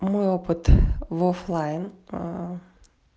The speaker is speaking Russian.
мой опыт в оффлайн а